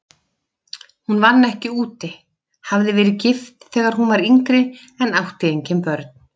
Hún vann ekki úti, hafði verið gift þegar hún var yngri en átti engin börn.